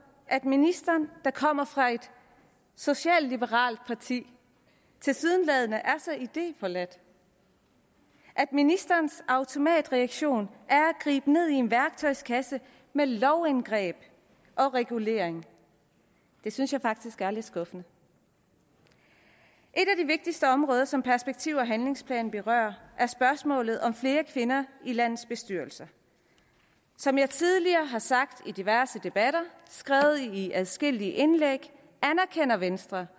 at ministeren der kommer fra et socialliberalt parti tilsyneladende er så idéforladt at ministerens automatreaktion er at gribe ned i en værktøjskasse med lovindgreb og regulering det synes jeg faktisk er lidt skuffende et af de vigtigste områder som perspektiv og handlingsplanen berører at spørgsmålet om flere kvinder i landets bestyrelser som jeg tidligere har sagt i diverse debatter og skrevet i adskillige indlæg anerkender venstre